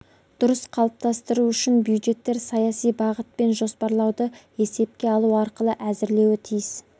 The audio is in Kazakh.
дұрыс қалыптастыру үшін бюджеттер саяси бағыт пен жоспарлауды есепке алу арқылы әзірлеуі тиіс